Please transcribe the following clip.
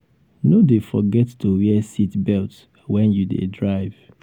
no dey forget to wear seat belt wen you dey drive.